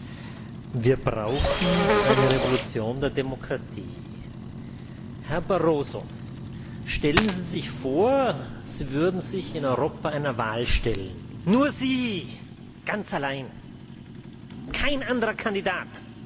Herr Präsident! Wir brauchen eine Revolution der Demokratie! Herr Barroso, stellen Sie sich vor, Sie würden sich in Europa einer Wahl stellen, nur Sie ganz allein, kein anderer Kandidat!